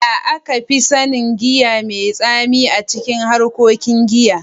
Yaya aka fi sanin giya mai tsami a cikin harkokin giya?